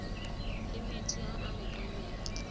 le metsi a a lekaneng